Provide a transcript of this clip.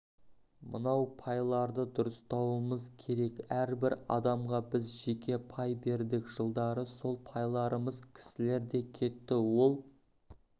мынау пайларды дұрыстауымыз керек әрбір адамға біз жеке пай бердік жылдары сол пайларымыз кісілерде кетті ол